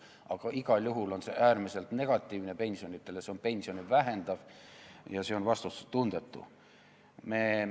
Aga igal juhul on see äärmiselt negatiivne pensionidele, see on pensione vähendav ja see on vastutustundetu.